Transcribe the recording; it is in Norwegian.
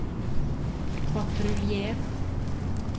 patruljer